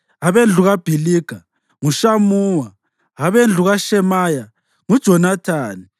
abendlu kaBhiliga nguShamuwa; abendlu kaShemaya nguJonathani;